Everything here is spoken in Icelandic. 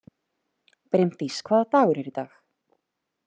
Brimdís, hvaða dagur er í dag?